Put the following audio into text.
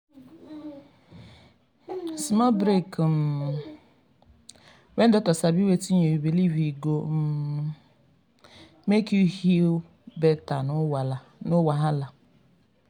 small break um when docta sabi wetin you believe e go um make you heal better no wahala.